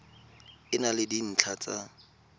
e na le dintlha tsa